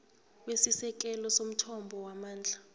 kwesisekelo somthombo wamandla